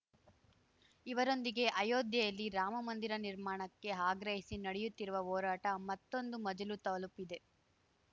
ಇವರೊಂದಿಗೆ ಅಯೋಧ್ಯೆಯಲ್ಲಿ ರಾಮಮಂದಿರ ನಿರ್ಮಾಣಕ್ಕೆ ಆಗ್ರಹಿಸಿ ನಡೆಯುತ್ತಿರುವ ಹೋರಾಟ ಮತ್ತೊಂದು ಮಜಲು ತಲುಪಿದೆ